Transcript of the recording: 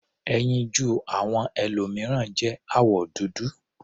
Ẹyinjú àwọn ẹlòmìíràn jẹ́ àwọ̀ dúdú.